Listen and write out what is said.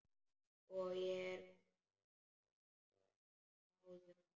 Og ég er gráðug.